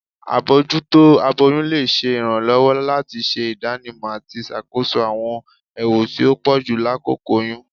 Abojuto aboyun le ṣe iranlọwọ lati ṣe idanimọ ati ṣakoso awọn ewu ti o pọju lakoko oyun.